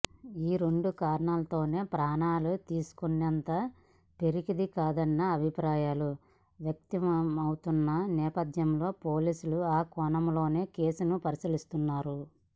ఈ రెండు కారణాలతోనే ప్రాణాలు తీసుకునేంత పిరికిది కాదన్న అభిప్రాయాలూ వ్యక్తమవుతున్న నేపథ్యంలో పోలీసులు ఆ కోణంలోనూ కేసును పరిశీలిస్తున్నారు